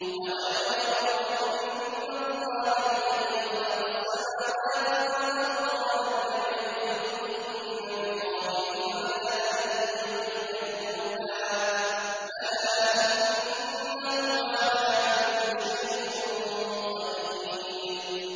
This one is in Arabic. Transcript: أَوَلَمْ يَرَوْا أَنَّ اللَّهَ الَّذِي خَلَقَ السَّمَاوَاتِ وَالْأَرْضَ وَلَمْ يَعْيَ بِخَلْقِهِنَّ بِقَادِرٍ عَلَىٰ أَن يُحْيِيَ الْمَوْتَىٰ ۚ بَلَىٰ إِنَّهُ عَلَىٰ كُلِّ شَيْءٍ قَدِيرٌ